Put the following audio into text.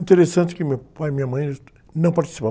Interessante que meu pai e minha mãe não participavam.